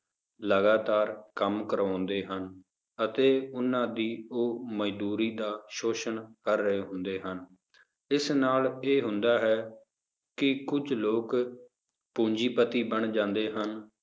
ਲਗਾਤਾਰ ਕੰਮ ਕਰਵਾਉਂਦੇ ਹਨ ਅਤੇ ਉਹਨਾਂ ਦੀ ਉਹ ਮਜ਼ਦੂਰੀ ਦਾ ਸ਼ੋਸ਼ਣ ਕਰ ਰਹੇ ਹੁੰਦੇ ਹਨ, ਇਸ ਨਾਲ ਇਹ ਹੁੰਦਾ ਹੈ ਕਿ ਕੁੱਝ ਲੋਕ ਪੂੰਜੀਪਤੀ ਬਣ ਜਾਂਦੇ ਹਨ,